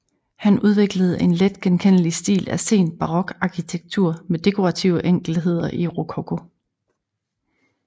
Han udviklede en let genkendelig stil af sen barokarkitektur med dekorative enkeltheder i rokoko